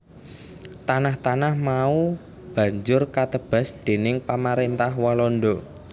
Tanah tanah mau banjur katebas déning Pamaréntah Walanda